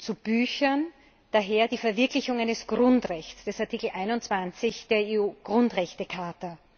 zu Büchern daher die Verwirklichung eines Grundrechts, des Artikels 21 der EU Grundrechtecharta.